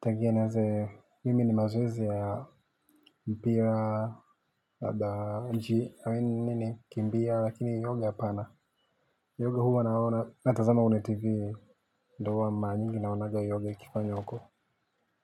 tangia nieze, mimi ni mazoezi ya mpira, mji, nini, kimbia, lakini yoga hapana, yoga huwa anaona, natazama kwenye TV, ndo huwa mara nyingi naonaga yoga ikifanywa huko.